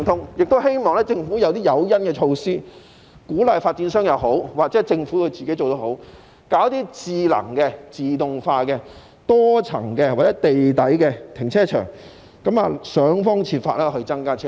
我亦希望政府提供誘因，無論是鼓勵發展商或政府自己帶頭做也好，興建一些智能和自動化的多層或地下停車場，設法增加泊車位。